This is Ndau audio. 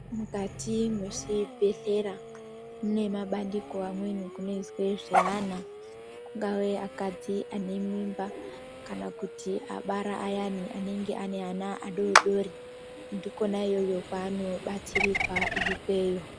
Mukati mwezvibhedhlera munemabandiko amweni kunoizwe zveana kungave akadzi ane mimba. Kana kuti abara ayani anenge aneana adodori ndikona iyoyo kwaanobatsirirwa ikweyo.